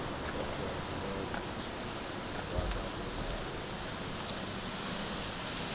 ngo deklerk wabangumongameli kwekugcina